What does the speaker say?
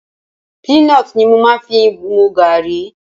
Peanut ni mo fi ń máa ń mu gààrí.